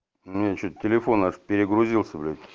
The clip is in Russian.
у меня что-то телефон аж перегрузился блять